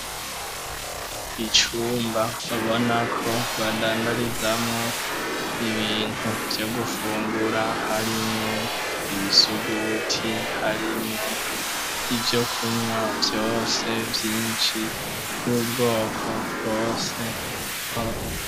Icumba ubonako badandarizamwo ibintu vyo gufungura harimwo ibisuguti, harimwo ivyo kunwa vyose vyinshi vy'ubwoko bwose .